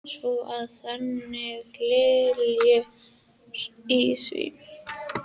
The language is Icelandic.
Svo að þannig liggur í því?